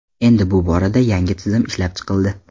Endi bu borada yangi tizim ishlab chiqildi.